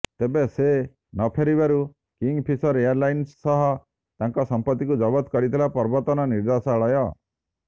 ତେବେ ସେ ନଫେରିବାରୁ କିଙ୍ଗଫିସର ଏୟାରଲାଇନ୍ସ ସହ ତାଙ୍କ ସମ୍ପତ୍ତିକୁ ଜବତ କରିଥିଲା ପ୍ରବର୍ତ୍ତନ ନିର୍ଦ୍ଦେଶାଳୟ